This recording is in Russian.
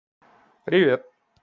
привет